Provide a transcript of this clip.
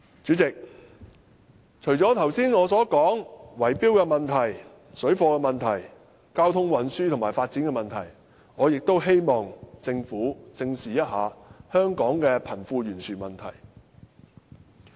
主席，除了我剛才談到的圍標問題、水貨問題、交通運輸和發展的問題，我亦希望政府正視香港的貧富懸殊問題。